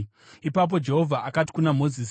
Ipapo Jehovha akati kuna Mozisi,